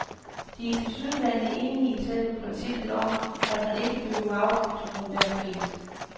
De er tilsyneladende enige i selve princippet om, at man ikke behøver afgifter for enhver pris.